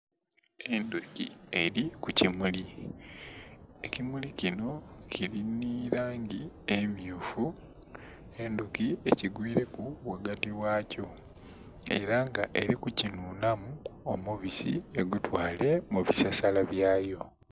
Endhuki eri ku kimuli, ekimuli kinho kili nhi langi emyufu, endhuki ekigwireku ghagati ghakyo era nga eri ku kinhunamu omubisi egutwale mu bisasala byayo